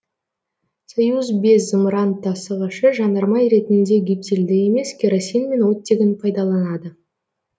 союз бес зымыран тасығышы жанармай ретінде гептилді емес керосин мен оттегін пайдаланады